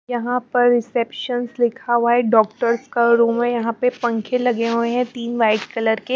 यहां पर रिसेप्शंस लिखा हुआ है डॉक्टर्स का रूम है यहां पे पंखे लगे हुए हैं तीन वाइट कलर के--